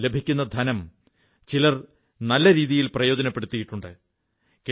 എയിൽ ലഭിക്കുന്ന ധനം ചിലർ നല്ല രീതിയിൽ പ്രയോജനപ്പെടുത്തിയിട്ടുണ്ട്